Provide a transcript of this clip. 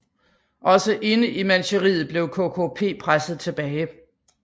Også inde i Manchuriet blev KKP presset tilbage